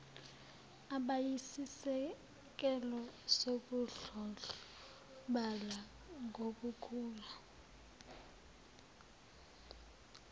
abayisisekelo sokudlondlobala nokukhula